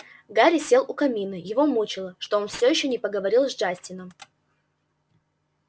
гарри сел у камина его мучило что он всё ещё не поговорил с джастином